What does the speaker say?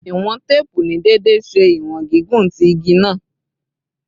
Iwọn teepu ni deede ṣe iwọn gigun ti igi naa